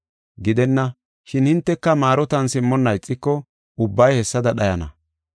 Gidenna! Shin hinteka maarotan simmonna ixiko ubbay hessada dhayana.”